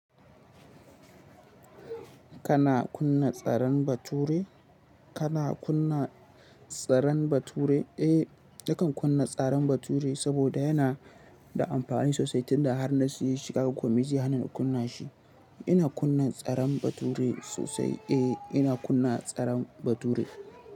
Kana kunna tsaran bature? Kana kunna tsaran bature? Eh, nakan kunna tsaran bature saboda yana da amfani sosai tunda har na sayi shi. Kaga ko mai zai hana ni kunna shi. Ina kunna tsaran bature sosai. Eh, ina kunna tsaran bature.